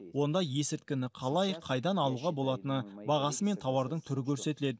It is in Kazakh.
онда есірткіні қалай қайдан алуға болатыны бағасы мен тауардың түрі көрсетіледі